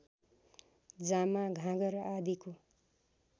जामा घाँगर आदिको